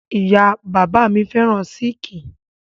Ìyá-bàbá mi féràn sííkì.